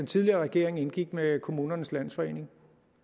tidligere regering indgik med kommunernes landsforening